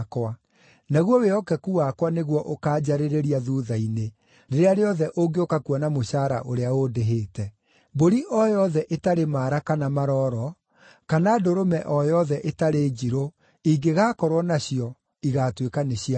Naguo wĩhokeku wakwa nĩguo ũkaanjarĩrĩria thuutha-inĩ, rĩrĩa rĩothe ũngĩũka kuona mũcaara ũrĩa ũndĩhĩte. Mbũri o yothe ĩtarĩ maara kana maroro, kana ndũrũme o yothe ĩtarĩ njirũ, ingĩgaakorwo nacio, igaatuĩka nĩ cia ũici.”